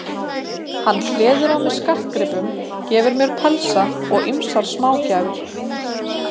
Hann hleður á mig skartgripum, gefur mér pelsa og ýmsar smágjafir.